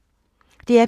DR P2